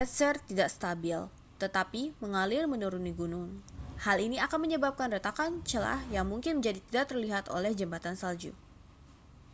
gletser tidak stabil tetapi mengalir menuruni gunung hal ini akan menyebabkan retakan celah yang mungkin menjadi tidak telihat oleh jembatan salju